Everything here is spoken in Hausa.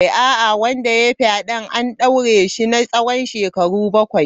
A'a, wanda ya yi fyaden an daure shi na tsawon shekaru bakwai.